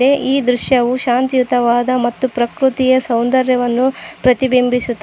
ಅದೇ ದೃಶ್ಯಯು ಶಾಂತಿಯುತವಾದ ಮತ್ತು ಪ್ರಕೃತಿಯ ಸೌಂದರ್ಯವನ್ನು ಪ್ರತಿಬಿಂಬಿಸುತ್ತದೆ.